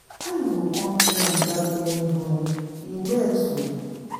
How you go come clean without any broom? You well so?